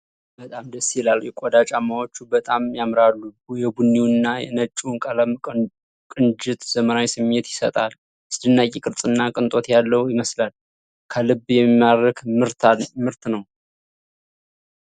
በጣም ደስ ይላል! የቆዳ ጫማዎቹ በጣም ያምራሉ። የቡኒውና ነጭው ቀለም ቅንጅት ዘመናዊ ስሜት ይሰጣል። አስደናቂ ቅርፅና ቅንጦት ያለው ይመስላል። ከልብ የሚማርክ ምርት ነው።